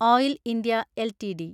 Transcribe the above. oil India LTD